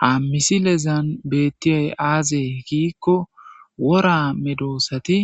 Ha misilezan beetiyay aaze giiko,wora medosati